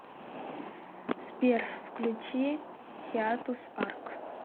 сбер включи хиатус арк